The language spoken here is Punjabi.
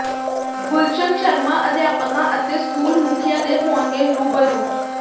ਗੁਲਸ਼ਨ ਸ਼ਰਮਾ ਅਧਿਆਪਕਾਂ ਅਤੇ ਸਕੂਲ ਮੁਖੀਆਂ ਦੇ ਹੋਣਗੇ ਰੁਬਰੂ